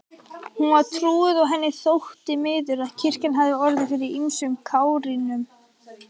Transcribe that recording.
Hún var trúuð og henni þótti miður að kirkjan hafði orðið fyrir ýmsum kárínum.